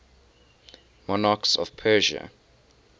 monarchs of persia